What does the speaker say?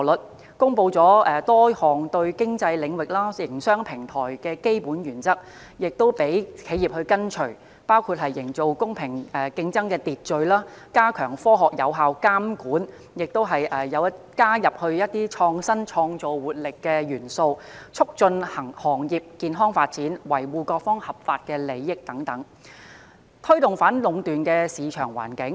內地公布了多項對平台經濟領域、營商平台的基本原則，讓企業跟隨，包括營造公平競爭秩序、加強科學有效監管、激發創新創造活力、促進行業健康發展、維護各方合法利益等，藉以推動反壟斷的市場環境。